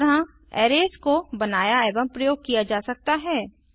इस तरह अरेज को बनाया एवं प्रयोग किया जा सकता है